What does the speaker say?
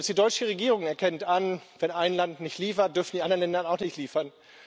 Selbst die deutsche Regierung erkennt an Wenn ein Land nicht liefert, dürfen die anderen Länder auch nicht liefern.